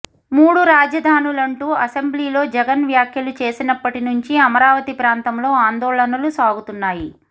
మూడు రాజధానులం టూ అసెంబ్లీలో జగన్ వ్యాఖ్యలు చేసినప్పటి నుంచి అమరావతి ప్రాంతంలో ఆందోళనలు సాగుతున్నాయి